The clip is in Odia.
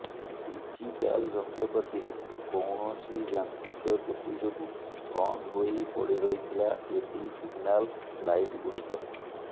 ଟିଜିଟାଲ ଯନ୍ତ୍ରପାତିରେ କୈାଣସି ଯାନ୍ତ୍ରୀିକ ତ୍ରୁଟି ଯୋଗୁଁ ବନ୍ଦ ହୋଇ ପଡି ରହିଥିଲା ଏଡି ସିଗନାଲ ଲାଇଟ୍ ଗୁଡିକ